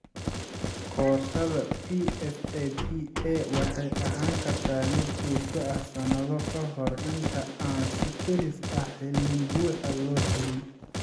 Koorsada PFAPA waxay ahaan kartaa mid joogto ah sanado kahor inta aan si kedis ah, xalin buuxa loo helin.